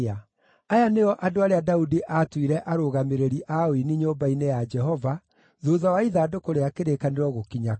Aya nĩo andũ arĩa Daudi aatuire arũgamĩrĩri a ũini nyũmba-inĩ ya Jehova thuutha wa ithandũkũ rĩa kĩrĩkanĩro gũkinya kũu.